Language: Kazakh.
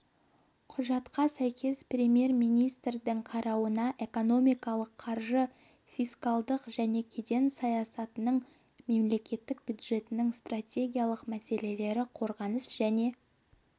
құжатқа сәйкес премьер-министрдің қарауына экономикалық қаржы фискалдық және кеден саясатының мемлекеттік бюджеттің стартегиялық мәселелері қорғаныс және